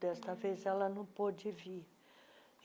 Dessa vez, ela não pôde vir.